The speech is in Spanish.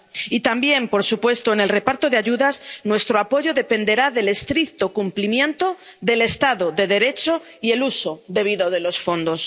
Y, también, por supuesto, en el reparto de ayudas, nuestro apoyo dependerá del estricto cumplimiento del Estado de Derecho y el uso debido de los fondos.